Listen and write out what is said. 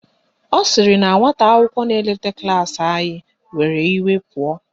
Ọ sịrị na nwata akwụkwọ na-eleta klaasị anyị were iwe pụọ.